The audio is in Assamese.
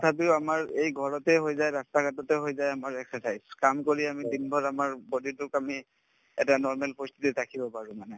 তথাপিও আমাৰ এই ঘৰতে হৈ যায় ৰাস্তা-ঘাটতে হৈ যায় আমাৰ exercise কাম কৰি আমি দিনভৰ আমাৰ body তোক আমি এটা normal পৰিস্থিতে ৰাখিব পাৰো মানে